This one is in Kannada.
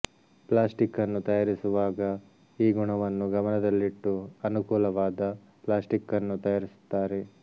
ಪ್ಲಾಸ್ಟಿಕ್ಕನ್ನು ತಯಾರಿಸುವಾಗ ಈ ಗುಣವನ್ನು ಗಮನದಲ್ಲಿಟ್ಟು ಅನುಕೂಲವಾದ ಪ್ಲಾಸ್ಟಿಕ್ಕನ್ನು ತಯಾರಿಸುತ್ತಾರೆ